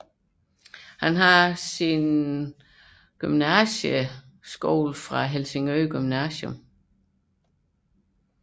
Han har en Gymnasial uddannelse fra Helsingør Gymnasium